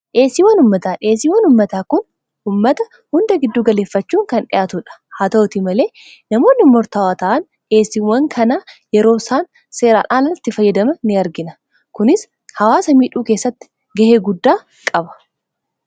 dheesiiwwan ummataa dheesiiwan ummataa kun ummata hunda gidduu galeeffachuun kan dhiyaatudha haa ta'uti malee namoonni mortaawaata'an dheesiiwwan kanaa yeroo isaan seeraadhaalaaltti fayyadama in argina kunis hawaa samiidhuu keessatti ga'ee guddaa qaba